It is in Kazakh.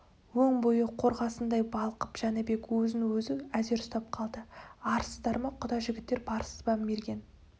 өн бойы қорғасындай балқып жәнібек өзін-өзі әзер ұстап қалды арсыздар ма құда жігіттер барсыз ба мерген